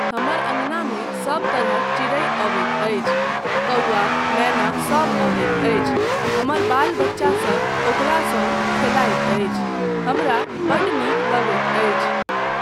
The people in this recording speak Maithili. हमर अँगनामे सब तरहक चिड़ै अबैत अछि, कौआ, मेना सब अबैत अछि, हमर बाल बच्चासब ओकरासँ खेलाइत अछि, हमरा बड्ड नीक लगैत अछि।